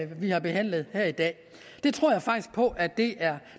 vi har behandlet her i dag jeg tror faktisk på at det er